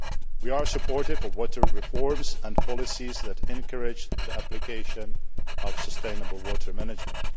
We are supportive of water reforms and policies that encourage the application of sustainable water management.